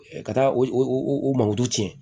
Ka taa o manguru tiɲɛ